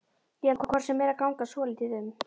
Ég ætla hvort sem er að ganga svolítið um.